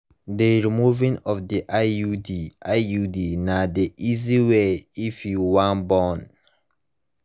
the removing of the iud iud na the easy way if you wan born